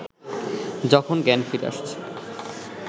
যখন জ্ঞান ফিরে আসছে